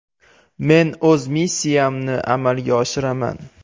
Men o‘z missiyamni amalga oshiraman.